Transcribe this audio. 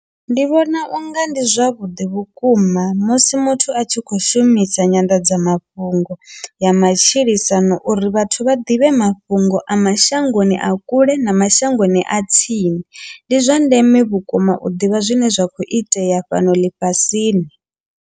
Ndi vhona unga ndi zwavhuḓi vhukuma musi muthu a tshi kho shumisa nyanḓadzamafhungo ya matshilisano uri vhathu vha ḓivhe mafhungo a mashangoni a kule na mashangoni a tsini, ndi zwa ndeme vhukuma u ḓivha zwine zwa kho itea fhano ḽifhasini.